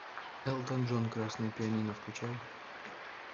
элтон джон красное пианино включай